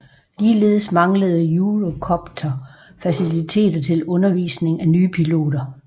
Ligeledes manglede Eurocopter faciliteter til undervisning af nye piloter